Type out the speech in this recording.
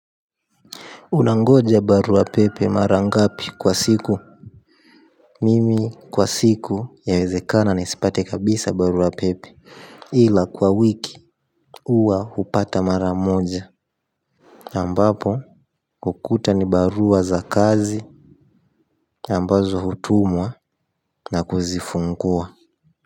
Unangoja barua pepe mara ngapi kwa siku mimi kwa siku yawezekana nisipate kabisa barua pepe ila kwa wiki huwa hupata mara moja ambapo hukuta ni barua za kazi ambazo hutumwa na kuzifungua.